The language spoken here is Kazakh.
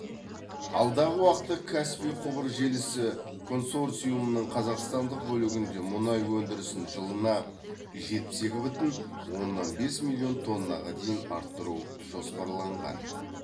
алдағы уақытта каспий құбыр желісі концорциумының қазақстандық бөлігінде мұнай өндірісін жылына жетпіс екі бүтін оннан бес миллион тоннаға дейін арттыру жоспарланған